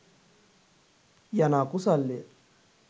යන අකුසල්ය.